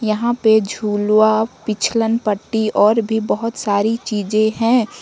यहां पे झुलवा पिछलन पट्टी और भी बहोत सारी चीजें हैं।